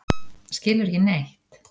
Skilurðu ekki neitt?